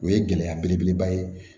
O ye gɛlɛya belebeleba ye